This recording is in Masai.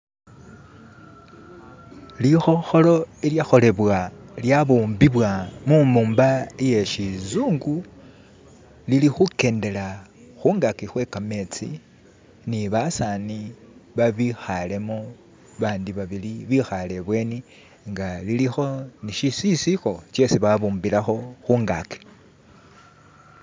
Likhokholo ilyakolebwa lyabumbibwa mumumba iyeshizungu lilikhukendela khungaji kwe kametsii ni basaani babikhalemo, bandi babili bekhale ibweni nga lilikho ni shisisikho shesi babumbilako khungaji